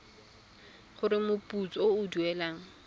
gore moputso o o duelwang